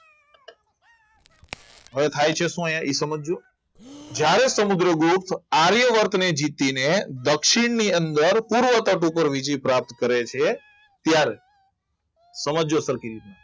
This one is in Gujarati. હવે થાય છે શું અહીંયા સમજ્યો જ્યારે સમુદ્રગુપ્ત આર્યવર્તને જીતીને દક્ષિણની અંદર પૂર્વ તરફ ઉપર વિજય પ્રાપ્ત કરે છે ત્યારે સમજજો સરખી રીતે